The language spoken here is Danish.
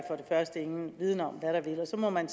første ingen viden om og så må man